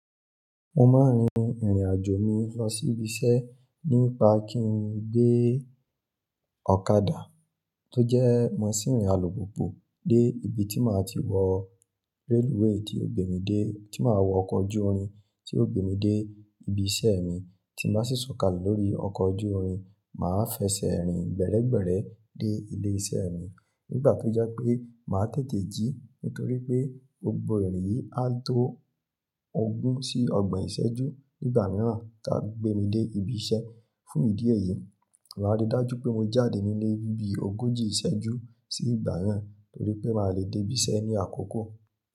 Mo máa rin ìrìn àjò mi lọ sí ibi iṣẹ́ nípa kí n gbé ọ̀kadà tó jẹ́ merchine alùpùpù dé ibi tí màá ti wọ rẹ́lúwẹ̀ẹ́ tí ó gbé mi dé, tí màá wọ ọkọ̀ ojú orin tí ó gbé mi dé ibi iṣẹ́ mi tí màá sì sọ̀kalẹ̀ lórí ọkọ̀ ojú orin. Màá fẹsẹ̀ rìn gbẹ́rẹ́gbẹ́rẹ́ dé ilé iṣẹ́ mi nígbà tó jẹ́ pé màá tètè jí nítorí pé gbogbo ìrìn yìí á tó ogún sí ọgbọ̀n ìṣẹ́jú nígbà mìíràn táa fi gbé mi dé ibi iṣẹ́. Fún ìdí èyí, màá rí i dájú pé mo jáde nílé ni bí ogójì ìṣẹ́jú sí ìgbà yẹn torí pé màá le dé ibi iṣẹ́ ní àkókò.